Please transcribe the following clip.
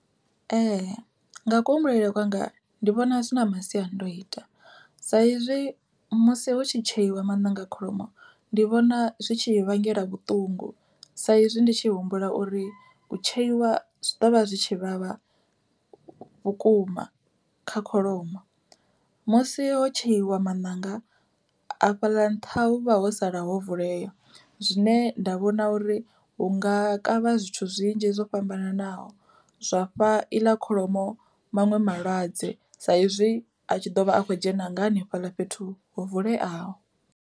Ee nga kuhumbulele kwanga ndi vhona zwi na masiandoitwa, sa izwi musi hu tshi tsheiwa maṋanga a kholomo ndi vhona zwi tshi i vhangela vhuṱungu sa izwi ndi tshi humbula uri u tsheiwa zwi ḓovha zwi tshi vhavha vhukuma, kha kholomo. Musi ho tsheiwa maṋanga a fhaḽa nṱha hu vha ho sala ho vulea zwine nda vhona uri hu nga kavha zwithu zwinzhi zwo fhambanaho zwa fha iḽa kholomo maṅwe malwadze, sa izwi a tshi ḓovha a kho dzhena nga hanefhaḽa fhethu ho vuleaho.